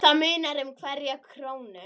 Það munar um hverja krónu.